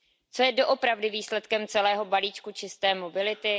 Co je doopravdy výsledkem celého balíčku čisté mobility?